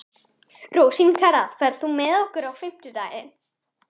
Rósinkara, ferð þú með okkur á fimmtudaginn?